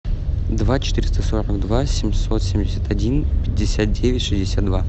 два четыреста сорок два семьсот семьдесят один пятьдесят девять шестьдесят два